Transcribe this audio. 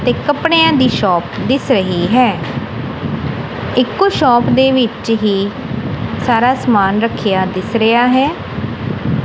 ਤੇ ਕੱਪੜੇ ਦੀ ਸ਼ੋਪ ਦਿਸ ਰਹੀ ਹੈ ਇੱਕੋ ਸ਼ੌਪ ਦੇ ਵਿੱਚ ਹੀ ਸਾਰਾ ਸਮਾਨ ਰੱਖਿਆ ਦਿਸ ਰਿਹਾ ਹੈ।